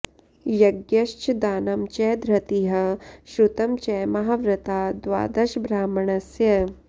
यज्ञश्च दानं च धृतिः श्रुतं च महाव्रता द्वादश ब्राह्मणस्य